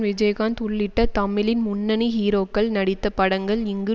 விஜயகாந்த் உள்ளிட்ட தமிழின் முன்னணி ஹீரோக்கள் நடித்த படங்கள் இங்கு